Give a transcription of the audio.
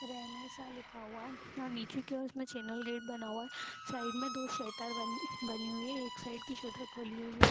रहने सा लिखा हुआ है और नीचे की ओर उसमें चैनल गेट बना हुआ है साइड में दो शटर बन बनी हुई है एक साइड की शटर खुली हुई है।